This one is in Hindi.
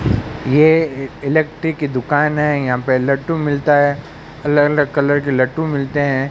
ये इलेक्ट्रिक की दुकान है यहां पे लट्टू मिलता है अलग अलग कलर के लट्टू मिलते हैं।